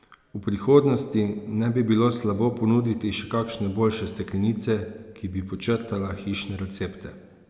V prihodnosti ne bi bilo slabo ponuditi še kakšne boljše steklenice, ki bi podčrtala hišne recepte.